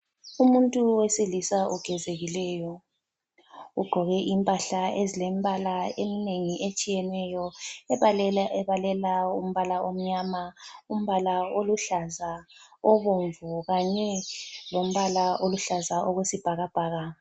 Umuntu wesilisa ogezekileyo, ugqoke impahla eziyimbala eminengi etshiyeneyo. Ebalela umbala omnyama, umbala oluhlaza, obomvu kanye lombala oluhlaza okwesibhakabhaka.